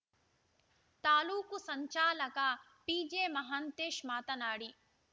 ತಾಲೂಕು ಸಂಚಾಲಕ ಪಿಜೆಮಹಾಂತೇಶ್‌ ಮಾತನಾಡಿ